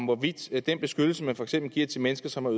hvorvidt den beskyttelse man for eksempel giver til mennesker som har